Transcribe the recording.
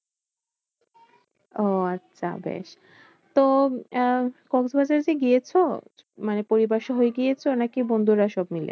ওহ আচ্ছা বেশ, তো আহ কক্সবাজার যে গিয়েছো মানে পরিবার সহ গিয়েছো? নাকি বন্ধুরা সব মিলে?